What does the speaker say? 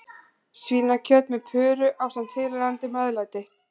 Svínakjöt með puru ásamt tilheyrandi meðlæti.